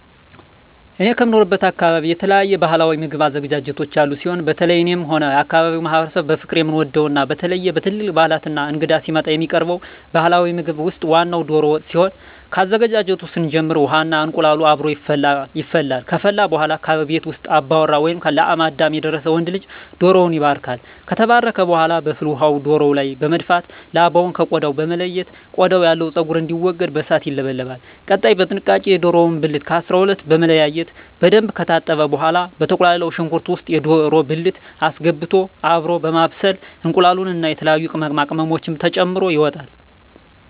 እኔ ከምኖርበት አካበቢ የተለያዩ ባህላዊ ምግብ አዘገጃጀቶች ያሉ ሲሆን በተለየ እኔም ሆነ የአካባቢዉ ማህበረሰብ በፍቅር የምንወደው እና በተለየ በትልልቅ ባህላት እና እንግዳ ሲመጣ የሚቀርበው ባህላዊ ምግብ ውስጥ ዋናው ደሮ ወጥ ሲሆን ከአዘገጃጀቱ ስንጀምር ውሃ እና እንቁላሉ አብሮ ይፈላል ከፈላ በኃላ ከቤት ውስጥ አባወራ ወይም ለአቅመ አዳም የደረሰ ወንድ ልጅ ደሮዉን ይባርካል። ከተባረከ በኃላ በፍል ውሃው ደሮው ላይ በመድፋት ላባውን ከ ቆዳው በመለየት ቆዳው ያለው ፀጉር እንዲወገድ በእሳት ይለበለባል። ቀጣይ በጥንቃቄ የደሮውን ብልት ከ 12 በመለያየት በደንብ ከታጠበ በኃላ በተቁላላው ሽንኩርት ውስጥ የደሮ ብልት አስገብቶ አብሮ በማብሰል እንቁላሉን እና የተለያዩ ቅመማ ቅመሞችን ተጨምሮ ይወጣል።